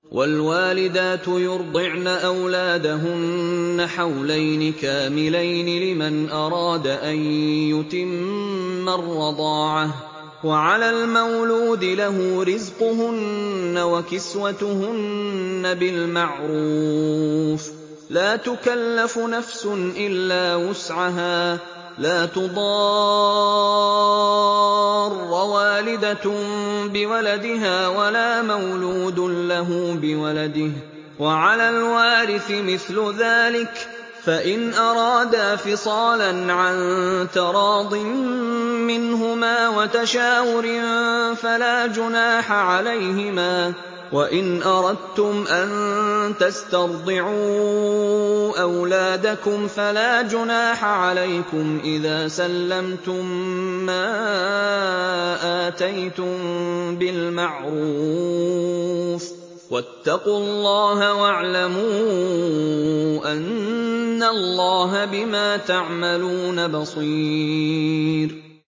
۞ وَالْوَالِدَاتُ يُرْضِعْنَ أَوْلَادَهُنَّ حَوْلَيْنِ كَامِلَيْنِ ۖ لِمَنْ أَرَادَ أَن يُتِمَّ الرَّضَاعَةَ ۚ وَعَلَى الْمَوْلُودِ لَهُ رِزْقُهُنَّ وَكِسْوَتُهُنَّ بِالْمَعْرُوفِ ۚ لَا تُكَلَّفُ نَفْسٌ إِلَّا وُسْعَهَا ۚ لَا تُضَارَّ وَالِدَةٌ بِوَلَدِهَا وَلَا مَوْلُودٌ لَّهُ بِوَلَدِهِ ۚ وَعَلَى الْوَارِثِ مِثْلُ ذَٰلِكَ ۗ فَإِنْ أَرَادَا فِصَالًا عَن تَرَاضٍ مِّنْهُمَا وَتَشَاوُرٍ فَلَا جُنَاحَ عَلَيْهِمَا ۗ وَإِنْ أَرَدتُّمْ أَن تَسْتَرْضِعُوا أَوْلَادَكُمْ فَلَا جُنَاحَ عَلَيْكُمْ إِذَا سَلَّمْتُم مَّا آتَيْتُم بِالْمَعْرُوفِ ۗ وَاتَّقُوا اللَّهَ وَاعْلَمُوا أَنَّ اللَّهَ بِمَا تَعْمَلُونَ بَصِيرٌ